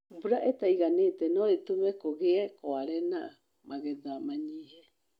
Mbura ĩtaiganĩte nũĩtũme kũgie kware na magetha manyihe.